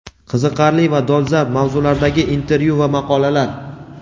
Qiziqarli va dolzarb mavzulardagi intervyu va maqolalar.